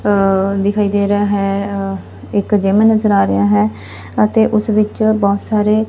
ਅ ਦਿਖਾਈ ਦੇ ਰਹਾ ਹੈ ਅ ਇੱਕ ਜਿਮ ਨਜ਼ਰ ਆ ਰਿਹਾ ਹੈ ਅਤੇ ਉਸ ਵਿੱਚ ਬਹੁਤ ਸਾਰੇ --